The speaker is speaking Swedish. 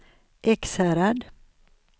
Ekshärad